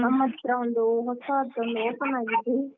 ನಮ್ ಹತ್ರ ಒಂದು ಹೊಸತು ಒಂದು open ಆಗಿದೆ .